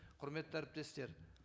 құрметті әріптестер